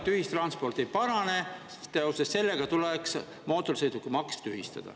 Aga me saame aru, et see ei parane, sest seoses sellega tuleks mootorsõidukimaks tühistada.